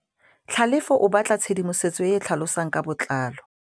Tlhalefô o batla tshedimosetsô e e tlhalosang ka botlalô.